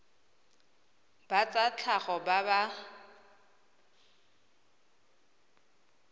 ba tsa tlhago ba ba